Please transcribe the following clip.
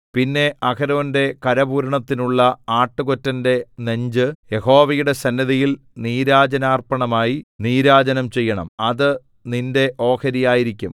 പിന്നെ അഹരോന്റെ കരപൂരണത്തിനുള്ള ആട്ടുകൊറ്റന്റെ നെഞ്ച് യഹോവയുടെ സന്നിധിയിൽ നീരാജനാർപ്പണമായി നീരാജനം ചെയ്യണം അത് നിന്റെ ഓഹരിയായിരിക്കും